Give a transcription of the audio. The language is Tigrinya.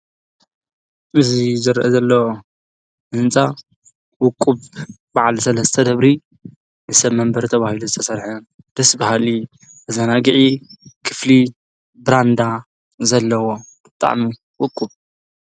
እዙይ ዘርአ ዘለ እንፃ ውቁብ በዕል ሠለ ዝተ ደብሪ ንሰብ መንበር ተብሂሉ ዝተሠርሐ ድስ በሃሊ ኣዛናጊዒ ክፍሊ ብራንዳ ዘለዎ ብጥዕሚ ውቁብ እዩ።